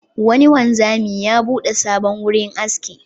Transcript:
Wani wanzami ya buɗe sabon wurin aski.